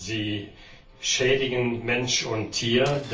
Sie schädigen Mensch und Tier.